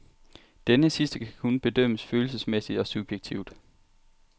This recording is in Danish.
Denne sidste kan kun bedømmes følelsesmæssigt og subjektivt.